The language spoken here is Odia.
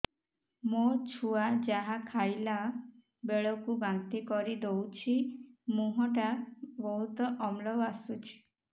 ମୋ ଛୁଆ ଯାହା ଖାଇଲା ବେଳକୁ ବାନ୍ତି କରିଦଉଛି ମୁହଁ ଟା ବହୁତ ଅମ୍ଳ ବାସୁଛି